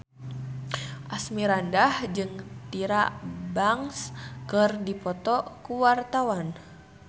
Asmirandah jeung Tyra Banks keur dipoto ku wartawan